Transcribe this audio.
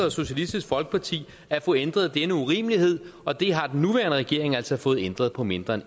og socialistisk folkeparti at få ændret denne urimelighed og det har den nuværende regering altså fået ændret på mindre end